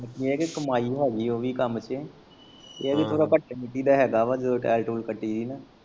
ਏਹ ਕੀ ਕਮਾਈ ਹੈਗੀ ਓਵੀ ਕੰਮ ਚ ਏਹ ਵੀ ਥੌੜਾ ਘੱਟੇ ਮਿੱਟੀ ਦਾ ਹੈਗਾ ਵਾ ਜਦੋਂ ਟੈਲ ਟੂਲ ਕੱਟੀ ਦਾ ਨਾ।